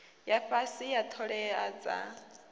ya fhasi ya ṱhoḓea dza